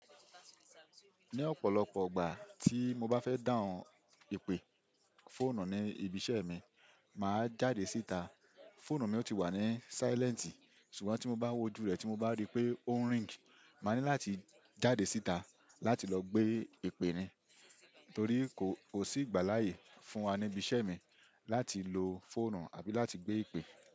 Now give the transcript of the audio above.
Ní ọ̀pọ̀lọpọ̀ ìgbà tí mo bá fẹ́ dáhùn ìpè fọ̀nù ní ibi iṣẹ́ mi, màá jáde síta. Fọ̀nù mi ò ti wà ní silent ṣùgbọ́n tí mo bá wojú rẹ̀ tí mo bá rí pé ó ń ring, màá ní láti jáde síta láti lọ gbé ìpè ni. Torí kò sí ìgbà láàyè fún wa ní ibi iṣẹ́ mi láti lo foonù àbí láti gbé ìpè.